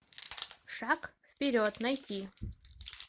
шаг вперед найти